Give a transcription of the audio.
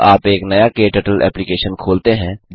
जब आप एक नया क्टर्टल एप्लिकेशन खोलते हैं